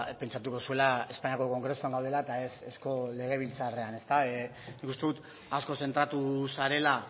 pentsatuko zuela espainiako kongresuan gaudela eta ez eusko legebiltzarrean nik uste dut asko zentratu zarela